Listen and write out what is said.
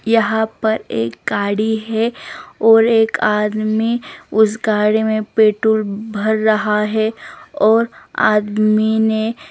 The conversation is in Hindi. यहां पर एक गाड़ी है और एक आदमी उस गाड़ी में पेट्रोल भरा रहा है और आदमी ने--